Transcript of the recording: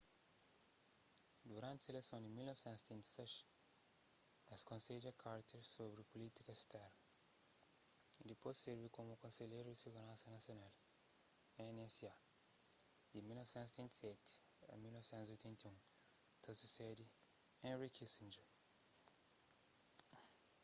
duranti seleson di 1976 el konsedja carter sobri pulítika sternu y dipôs sirvi komu konselheru di siguransa nasional nsa di 1977 a 1981 ta susede henry kissinger